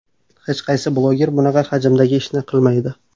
Hech qaysi bloger bunaqa hajmdagi ishni qilmaydi.